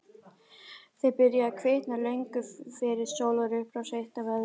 Þau byrjuðu að kvikna löngu fyrir sólarupprás, eitt af öðru.